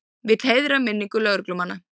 Vill heiðra minningu lögreglumanna